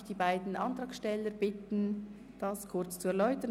Ich bitte die Antragsteller, ihre Anträge zu erläutern.